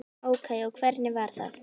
Ókei og hvernig var það?